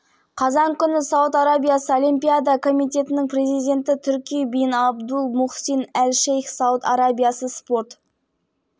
қауымдастығының президенті лауазымына рим бандану аль-саудты тағайындады ол спорт саласындағы осындай жоғары лауазымды иеленген патшалық